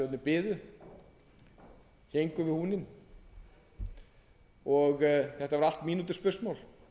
sparisjóðirnir biðu héngu við húninn og þetta var allt mínútuspursmál